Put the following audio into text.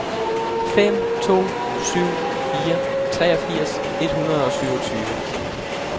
fem to syv fire treogfirs et hundrede og syvogtyve